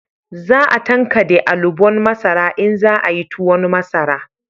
Za a tankade alubon masara in za a yi tuwon masara